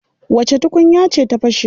Wace tukunya ce ta fashe?